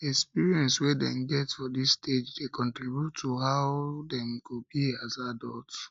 experience wey dem get for dis stage de contribute to how to how dem go be as adults